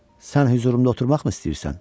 Sən hüzurumda oturmaqmı istəyirsən?